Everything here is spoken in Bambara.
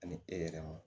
Ani e yɛrɛ ma